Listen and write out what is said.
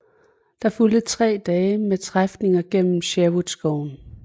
Der fulgte tre dage med træfninger gennem Sherwoodskoven